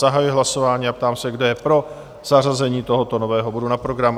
Zahajuji hlasování a ptám se, kdo je pro zařazení tohoto nového bodu na program?